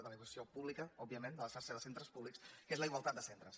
de l’educació pública òbviament de la xarxa de centres públics que és la igualtat de centres